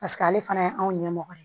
Paseke ale fana ye anw ɲɛmɔgɔ ye